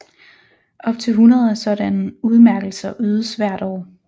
Op til hundrede af sådanne udmærkelser ydes hvert år